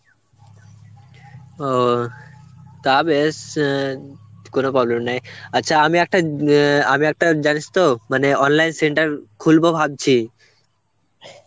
ও তা বেশ অ্যাঁ কোন problem নেই. আচ্ছা আমি একটা অ্যাঁ আমি একটা জানিস তো মানে online center খুলবো ভাবছি.